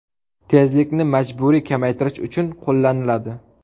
Tezlikni majburiy kamaytirish uchun qo‘llaniladi.